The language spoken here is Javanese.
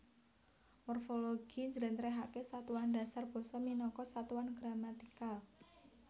Morfologi njlentrehake satuan dasar basa minangka satuan gramatikal